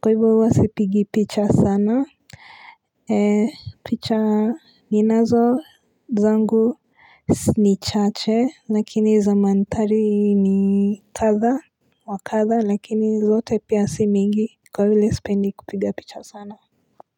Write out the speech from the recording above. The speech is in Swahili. Kwa hivyo uwa sipigi picha sana. Eee picha ninazo zangu ni chache lakini zamantari ni katha. Wakatha lakini zote pia si mingi kwa hivyo sipendi kupiga picha sana. Kwa hivyo.